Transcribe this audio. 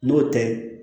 N'o tɛ